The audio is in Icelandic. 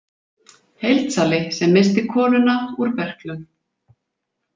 Heildsali sem missti konuna úr berklum.